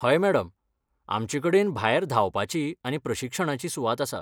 हय मॅडम, आमचे कडेन भायर धांवपाची आनी प्रशिक्षणाची सुवात आसा.